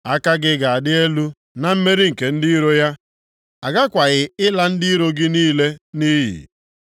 Aka gị ga-adị elu na mmeri nke ndị iro ya, a ghakwaghị ịla ndị iro gị niile nʼiyi.